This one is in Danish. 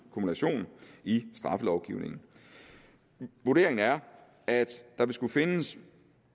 kumulation i straffelovgivningen vurderingen er at der vil skulle findes